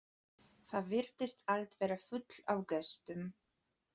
Það virtist allt vera fullt af gestum.